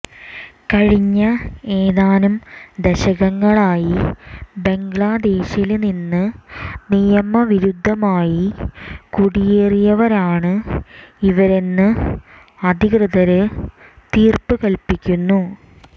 കഴിഞ്ഞ ഏതാനും ദശകങ്ങളായി ബംഗ്ലാദേശില് നിന്ന് നിയമവിരുദ്ധമായി കുടിയേറിയവരാണ് ഇവരെന്ന് അധികൃതര് തീര്പ്പ് കല്പ്പിക്കുന്നു